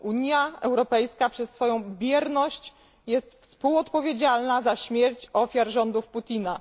Unia Europejska przez swoją bierność jest współodpowiedzialna za śmierć ofiar rządów Putina.